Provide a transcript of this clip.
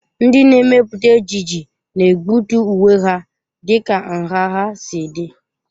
Ndị na-emepụta ejiji na-egbutu uwe ha dịka nha ha si dị.